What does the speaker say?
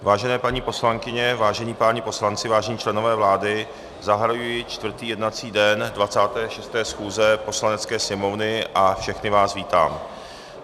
Vážené paní poslankyně, vážení páni poslanci, vážení členové vlády, zahajuji čtvrtý jednací den 26. schůze Poslanecké sněmovny a všechny vás vítám.